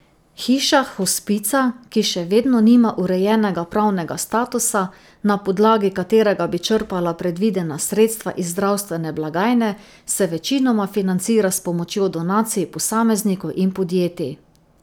Hiša hospica, ki še vedno nima urejenega pravnega statusa, na podlagi katerega bi črpala predvidena sredstva iz zdravstvene blagajne, se večinoma financira s pomočjo donacij posameznikov in podjetij.